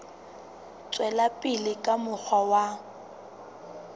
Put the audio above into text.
tswela pele ka mokgwa wa